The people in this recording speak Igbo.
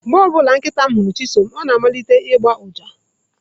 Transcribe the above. Mgbe ọ bụla nkịta m hụrụ Chisom, ọ na-amalite ịgba uja.